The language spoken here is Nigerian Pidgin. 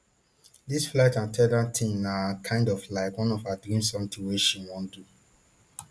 dis flight at ten dant thing na kind of like one of her dreams something wey she wan do